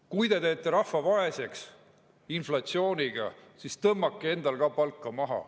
Kui te teete rahva vaeseks inflatsiooniga, siis tõmmake endal ka palka maha.